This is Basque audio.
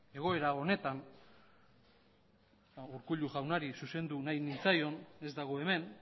egoera honetan urkullu jaunari zuzendu nahi nintzaion ez dago hemen